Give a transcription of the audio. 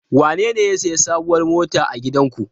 Wanene ya sayi sabuwar mota a gidanku?